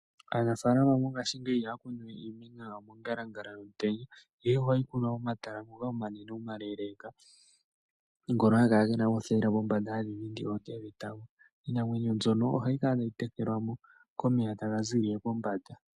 Aanafalama mongashi ngeyi iha kunuwe iimeno yawo mongalangala yomutenya ihe ohayikunwa momatala ngoka omanene omaleleka gono hangakala ngena othayila pombanda hadhidhindi oonte dhetango iimeno mbyono hayi kala tayitekelwa komeya tanga zilile pombanda.